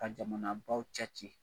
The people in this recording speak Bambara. Ka jamanabaw cɛ ci